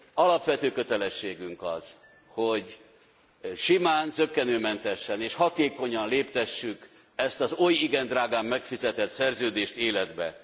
Alapvető kötelességünk az, hogy simán, zökkenőmentesen és hatékonyan léptessük ezt az oly igen drágán megfizetett szerződést életbe.